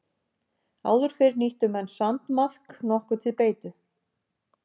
Áður fyrr nýttu menn sandmaðk nokkuð til beitu.